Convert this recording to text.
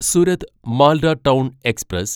Surat Malda town express